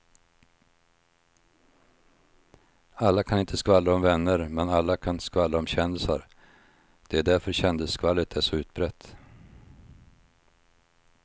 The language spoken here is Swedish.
Alla kan inte skvallra om vänner men alla kan skvallra om kändisar, det är därför kändisskvallret är så utbrett.